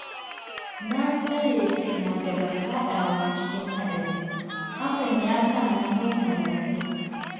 Na tsare kaina daga faɗawa cikin haɗari, hakan ya sa na zauna lafiya